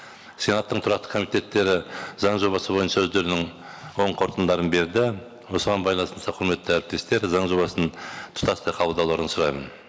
сенаттың тұрақты комитеттері заң жобасы бойынша өздерінің оң қорытындыларын берді осыған байланысты құрметті әріптестер заң жобасын тұтастай қабылдауларыңызды сұраймын